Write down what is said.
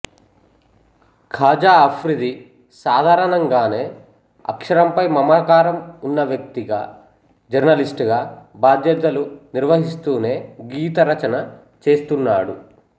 ఖాజా అఫ్రిది సాధారణంగానే అక్షరంపై మమకారం ఉన్న వ్యక్తిగా జర్నలిస్టుగా బాధ్యతలు నిర్వహిస్తూనే గీత రచన చేస్తున్నాడు